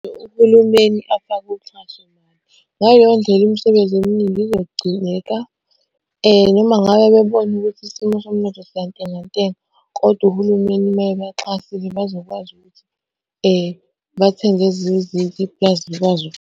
Uhulumeni afake uxhaso . Ngaleyo ndlela imisebenzi eminingi izogcineka and uma ngabe bebone ukuthi isimo somnotho siyantengantenga, kodwa uhulumeni uma ebaxhasile bazokwazi ukuthi bathenge ezinye izinto iplazi likwazi.